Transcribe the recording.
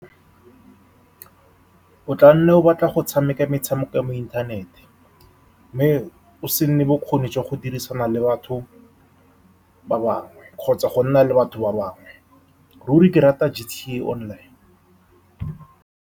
O tla nna o batla go tshameka metshameko ya mo inthanete, mme go se nne bokgoni jwa go dirisana le batho ba bangwe kgotsa go nna le batho ba bangwe ruri, ke rata GTA Online.